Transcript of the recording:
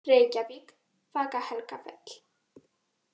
Reykjavík, Vaka-Helgafell.